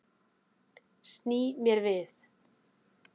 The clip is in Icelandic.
Sný mér við.